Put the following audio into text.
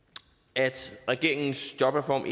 at regeringens jobreform